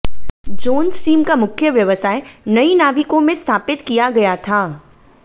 Jones team का मुख्य व्यवसाय नई नाविकों में स्थापित किया गया था